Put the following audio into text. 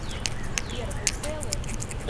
сбер вы целы